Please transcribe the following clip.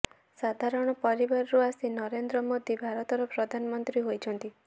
ସାଧାରଣ ପରିବାରରୁ ଆସି ନରେନ୍ଦ୍ର ମୋଦି ଭାରତର ପ୍ରଧାନମନ୍ତ୍ରୀ ହୋଇଛନ୍ତି